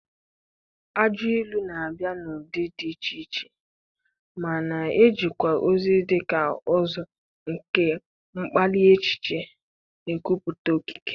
Ajọ ilu na-abịa n'ụdị dị iche iche ma na-ejekwa ozi dị ka ụzọ nke mkpali echiche na nkwupụta okike.